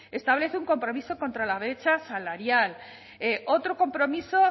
establece un compromiso contra la brecha salarial otro compromiso